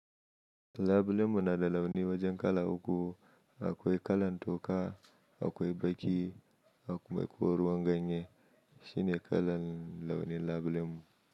Labulen mu na launi wajen kala uku: akwai kala toka, akwai baki, akwai ruwan ganye shine kala launin labulemu.